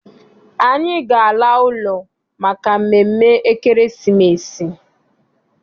Anyị ga- ala ụlọ maka mmemme ekeresimesi.